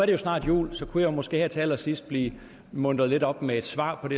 det snart jul og så kunne jeg måske til allersidst blive muntret lidt op med et svar på